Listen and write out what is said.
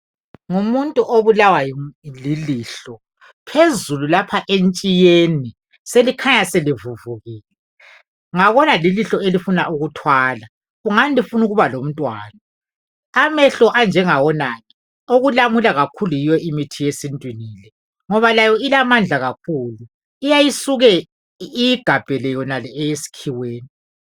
Ngumuntu obulawa lilihlo. Phezulu lapha entshiyeni selikhanya selivuvukile. Ngabona lilihlo elifuna ukuthwala. Kungani lifuna ukuba lomntwana. Amehlo anjengawonala, okulamula kakhulu yiyo imithi yesintwini le. Ngoba layo ilamandla kakhulu. Iyayisuke iyigabhele yonale eyeskhiweni.